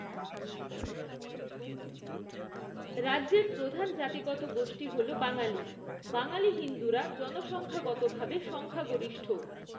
রাজ্যের প্রধান জাতিগত গোষ্ঠী হল বাঙালি, বাঙালি হিন্দুরা জনসংখ্যাগতভাবে সংখ্যাগরিষ্ঠ।